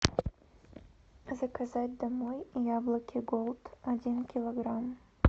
заказать домой яблоки голд один килограмм